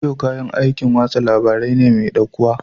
Rediyo kayan aikin watsa labarai ne mai ɗaukuwa.